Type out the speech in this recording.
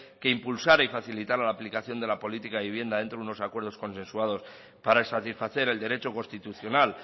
que impulsara y facilitara la aplicación de la política de vivienda dentro de unos acuerdos consensuados para satisfacer el derecho constitucional